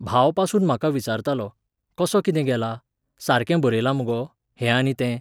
भावपासून म्हाका विचारतालो, कसो कितें गेला, सारकें बरयलां मुगो, हें आनी तें.